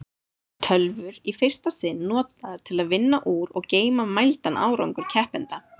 Tölvur í fyrsta sinn notaðar til að vinna úr og geyma mældan árangur keppenda.